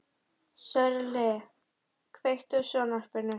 Sörli, kveiktu á sjónvarpinu.